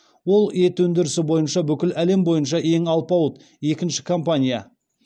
ол ет өндірісі бойынша бүкіл әлем бойынша ең алпауыт екінші компания